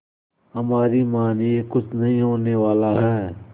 हमारी मानिए कुछ नहीं होने वाला है